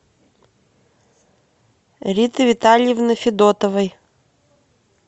риты витальевны федотовой